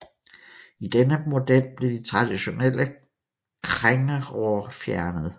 I denne model blev de traditionelle krængeror fjernet